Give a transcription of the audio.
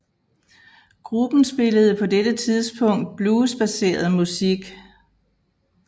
Gruppen spillede på dette tidspunkt bluesbaseret musik